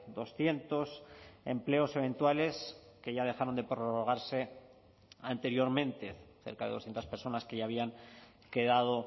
doscientos empleos eventuales que ya dejaron de prorrogarse anteriormente cerca de doscientos personas que ya habían quedado